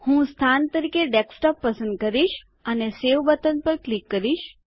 હું સ્થાન તરીકે ડેસ્કટોપ પસંદ કરીશ અને સવે બટન પર ક્લિક કરીશ